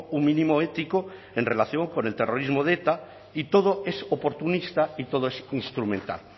un mínimo ético en relación con el terrorismo de eta y todo es oportunista y todo es instrumental